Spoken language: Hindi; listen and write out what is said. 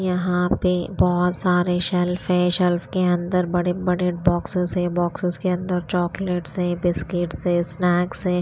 यहां पे बहुत सारे शेल्फ है शेल्फ के अंदर बड़े बड़े बॉक्सेस है बॉक्सेस के अंदर चॉकलेट्स है बिस्किट्स है स्नैक्स है।